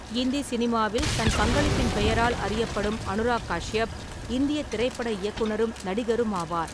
இந்தி சினிமாவில் தன பங்களிப்பின் பெயரால் அறியப்படும் அனுராக் காஷ்யப் இந்திய திரைப்பட இயக்குனரும், நடிகருமாவார்.